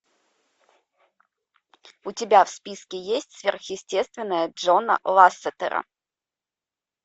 у тебя в списке есть сверхъестественное джона лассетера